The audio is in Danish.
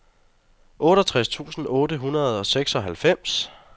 otteogtres tusind otte hundrede og seksoghalvfems